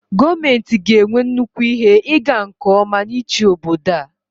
gọọmenti ga-enwe nnukwu ihe ịga nke ọma n'ịchị obodo a